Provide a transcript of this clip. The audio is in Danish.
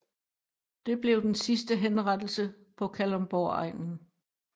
Det blev den sidste henrettelse på Kalundborgegnen